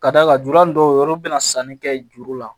Ka d'a kan jura dɔw yɛrɛ bɛna sanni kɛ juru la